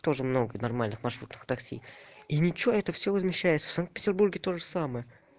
тоже много нормальных маршрутных такси и ничего это всё возмещается в санкт-петербурге тоже самое